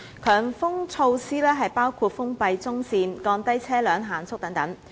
強風措施包括封閉中線、降低車輛限速等。